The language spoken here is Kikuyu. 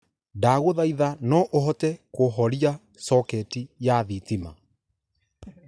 ndaguthaitha no uhote kuhoria soekti ya thitima